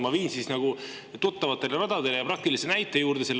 Ma viin selle asja nagu tuttavatele radadele ja praktilise näite juurde.